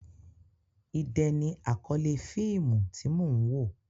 Idẹ ni àkọ́lé fíìmù tí mò ń wò.